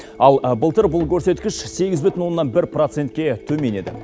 ал былтыр бұл көрсеткіш сегіз бүтін оннан бір процентке төмен еді